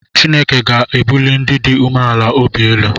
Chineke ga-ebuli ndị dị umeala n’obi elu